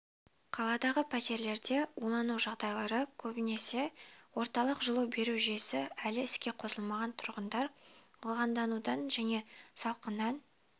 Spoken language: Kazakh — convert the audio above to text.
қаладағы пәтерлерде улану жағдайлары көбінесе орталық жылу беру жүйесі әлі іске қосылмаған тұрғындар ылғалданудан және салқыннан